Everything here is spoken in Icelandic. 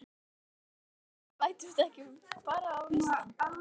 Heldurðu að við bætumst ekki bara á listann?